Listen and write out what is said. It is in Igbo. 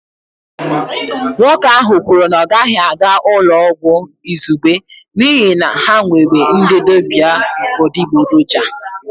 Nwoke ahụ kwuru na ọ gaghị aga ụlọ ọgwụ izugbe n'ihi na ha nwere ndị dibịa adịgboroja